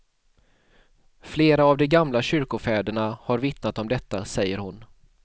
Flera av de gamla kyrkofäderna har vittnat om detta, säger hon.